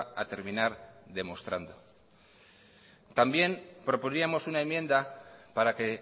a terminar demostrando también proponíamos una enmienda para que